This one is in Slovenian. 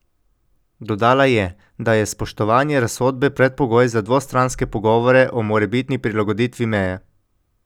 Dodala je, da je spoštovanje razsodbe predpogoj za dvostranske pogovore o morebitni prilagoditvi meje.